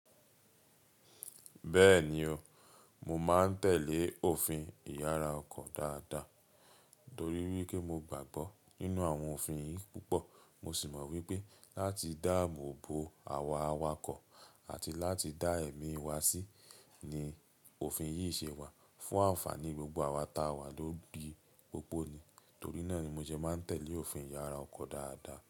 Bẹ́ẹ̀ni o, mo máa ń tẹ̀lé òfin ìyára ọkọ̀ dáadáa torí wípé mo gbàgbọ́ nínú àwọn òfin yìí púpọ̀. Mo sì mọ̀ wípé láti dáàbò bo àwa awakọ̀ àti láti dá ẹ̀mí wa sí ni òfin yìí ṣe wà fún ànfàní gbogbo àwa ta wà lóri pópó ni. Torí náà ni mo jẹ máa ń tẹ̀lé òfin ìyára ọkọ̀ dáadáa.